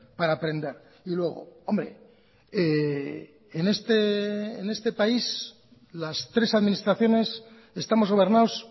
para aprender y luego hombre en este país las tres administraciones estamos gobernados